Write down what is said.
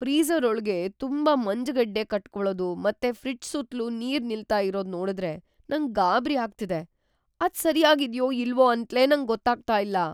Freezer ಒಳ್ಗೆ ತುಂಬಾ ಮಂಜ್‌ಗಡ್ಡೆ ಕಟ್ಕೊಳದು ಮತ್ತೆ ಫ್ರಿಡ್ಜ್ ಸುತ್ಲು ನೀರ್ ನಿಲ್ತಾ ಇರೋದ್‌ ನೋಡುದ್ರೆ ನಂಗ್‌ ಗಾಬ್ರಿ ಆಗ್ತಿದೆ; ಅದ್ ಸರ್ಯಾಗ್ ಇದ್ಯೋ ಇಲ್ವೋ ಅಂತ್ಲೇ ನಂಗ್ ಗೊತ್ತಾಗ್ತಾ ಇಲ್ಲ.